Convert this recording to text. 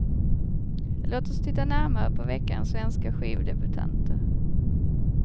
Låt oss titta närmare på veckans svenska skivdebutanter.